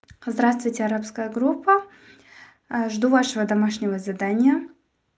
здравствуйте арабская группа аа жду вашего домашнего задания